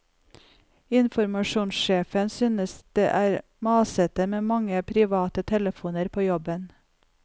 Informasjonssjefen synes det er masete med for mange private telefoner på jobben.